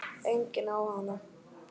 Enginn á hana.